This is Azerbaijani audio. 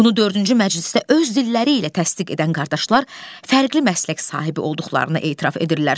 Bunu dördüncü məclisdə öz dilləri ilə təsdiq edən qardaşlar fərqli məslək sahibi olduqlarını etiraf edirlər.